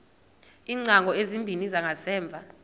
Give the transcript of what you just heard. iingcango ezimbini zangasemva